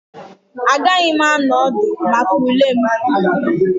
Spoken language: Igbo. Agaghị m anọ ọdụ maka ule m